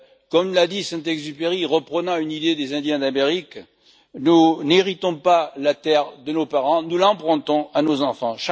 Comme l'a dit Saint Exupéry, reprenant une idée des Indiens d'Amérique, nous n'héritons pas la terre de nos parents, nous l'empruntons à nos enfants.